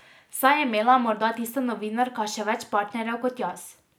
Saj je imela morda tista novinarka še več partnerjev kot jaz.